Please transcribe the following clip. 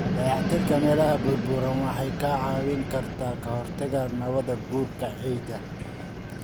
Dayactirka meelaha burburay waxay kaa caawin kartaa ka hortagga nabaad-guurka ciidda.